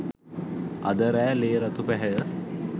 අද රෑ ලේ රතු පැහැය